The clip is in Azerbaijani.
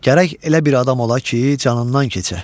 Gərək elə bir adam ola ki, canından keçə.